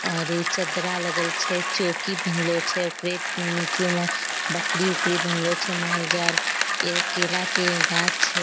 और ई चदरा लगल छे चोकी भनलो छे ओकरे नीचू म बकरी-उकरी बन्हलो छे माल-जाल एगो केला के गाछ छे।